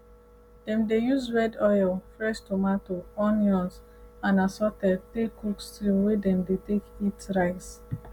dem dey use red oil fresh tomatoes onions and assorted take cook stew wey dem take dey eat rice